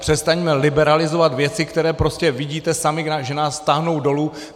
Přestaňme liberalizovat věci, které prostě vidíte sami, že nás táhnou dolů.